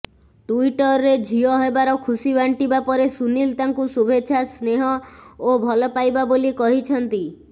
ଟୁଇଟରରେ ଝିଅ ହେବାର ଖୁସି ବାଣ୍ଟିବା ପରେ ସୁନିଲ ତାଙ୍କୁ ଶୁଭେଚ୍ଛା ସ୍ନେହ ଓ ଭଲପାଇବା ବୋଲି କହିଛନ୍ତି